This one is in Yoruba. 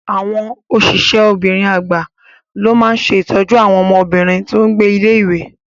Àwọn osise obìnrin agba ló máa ṣe ìtọ́jú àwọn ọmọbìnrin tó n gbé ilé-ìwé